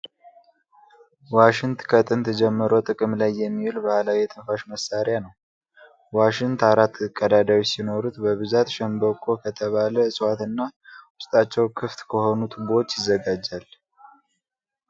ዋሽንት ከጥንት ጀምሮ ጥቅም ላይ የሚውል ባህላዊ የትንፋሽ መሳሪያ ነው። ዋሽንት አራት ቀዳዳዎች ሲኖሩት በብዛት ሸንበቆ ከተባ እፅዋት እና ውስጣቸው ክፍት ከሆኑ ቱቦዎች ይዘጋጃል።